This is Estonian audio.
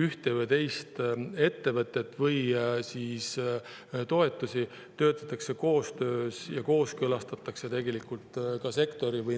ühte või teist ettevõtet või toetust, töötatakse välja koostöös sektoriga ja kooskõlastatakse tegelikult nendega.